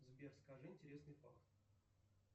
сбер скажи интересный факт